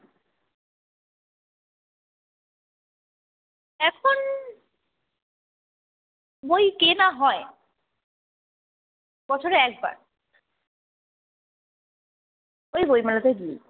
বই কেনা হয়। বছরে একবার ওই বইমেলাতে গিয়ে